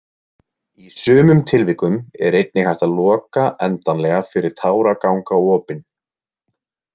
Í sumum tilvikum er einnig hægt að loka endanlega fyrir táragangaopin.